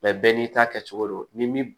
bɛɛ n'i ta kɛcogo don ni mi